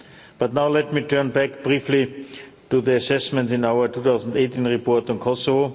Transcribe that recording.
But now let me turn back briefly to the assessment in our 2018 report on Kosovo.